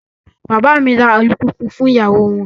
Bàbá mi ra alùpùpù fún ìyàwó won.